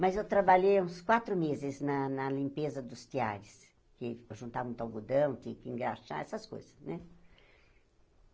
Mas eu trabalhei uns quatro meses na na limpeza dos teares, porque eu juntava muito algodão, tinha que engraxar, essas coisas né.